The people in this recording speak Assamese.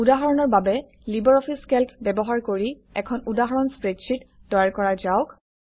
উদাহৰণৰ বাবে লিবাৰঅফিছ কেল্ক ব্যৱহাৰ কৰি এখন উদাহৰণ স্প্ৰেডশ্বিট তৈয়াৰ কৰা যাওক